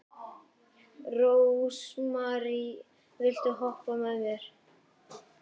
Rósmary, viltu hoppa með mér?